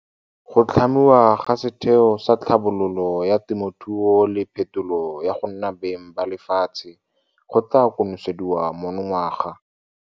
Go tlhamiwa ga Setheo sa Tlhabololo ya Temothuo le Phetolo ya go nna Beng ba Lefatshe go tla konosediwa monongwaga.